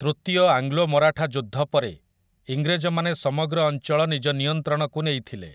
ତୃତୀୟ ଆଙ୍ଗ୍ଲୋମରାଠା ଯୁଦ୍ଧ ପରେ ଇଂରେଜ ମାନେ ସମଗ୍ର ଅଞ୍ଚଳ ନିଜ ନିୟନ୍ତ୍ରଣକୁ ନେଇଥିଲେ ।